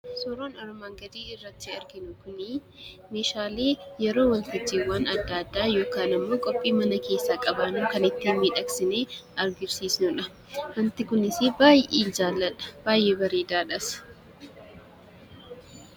Suuraan armaan gadii irratti arginu kuni meeshaa yeroo waltajjiiwwan adda addaa yookaan qophiin mana keessaa qabannu kan ittiin miidhagsinee agarsiisnudha. Waanta kunis baay'ee kanan jaalladhudha. Baay'ee bareedaadhas.